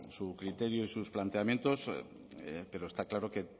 su criterio y sus planteamientos pero está claro que